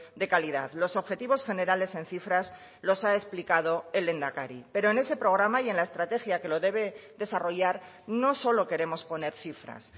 de calidad los objetivos generales en cifras los ha explicado el lehendakari pero en ese programa y en la estrategia que lo debe desarrollar no solo queremos poner cifras